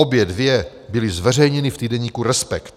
Obě dvě byly zveřejněny v týdeníku Respekt.